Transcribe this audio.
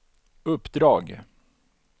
uppdrag